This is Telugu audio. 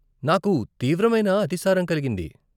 నాకు తీవ్రమైన అతిసారం కలిగింది.